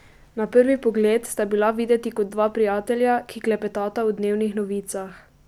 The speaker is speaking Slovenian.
Na prvi pogled sta bila videti kot dva prijatelja, ki klepetata o dnevnih novicah.